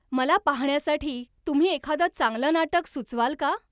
मला पाहण्यासाठी तुम्ही एखादं चांगलं नाटक सुचवाल का?